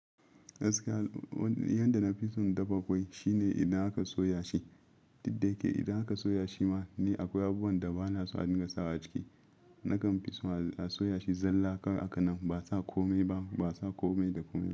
Gaskia ni yanda na fi son in dafa kwai shine idan aka soya shi. Duk da dai idan aka soya shi ma ni akwai abubuwan da bana so a dinga sawa a ciki. Nakan fi soma a soya shi zalla kawai hakan nan ba sa kome ba, ba sa kome da kome.